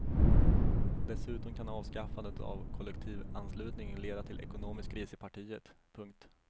Dessutom kan avskaffandet av kollektivanslutningen leda till ekonomisk kris i partiet. punkt